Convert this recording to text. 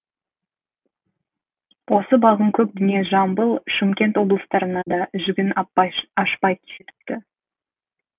осы балғын көк дүние жамбыл шымкент облыстарына да жігін ашпай жетіпті